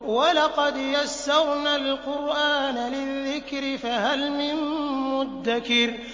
وَلَقَدْ يَسَّرْنَا الْقُرْآنَ لِلذِّكْرِ فَهَلْ مِن مُّدَّكِرٍ